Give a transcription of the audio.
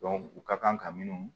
u ka kan ka minnu